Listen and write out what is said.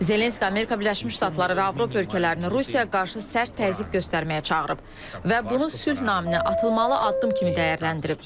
Zelenski Amerika Birləşmiş Ştatları və Avropa ölkələrini Rusiyaya qarşı sərt təzyiq göstərməyə çağırıb və bunu sülh naminə atılmalı addım kimi dəyərləndirib.